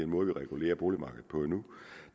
måde vi regulerer boligmarkedet på nu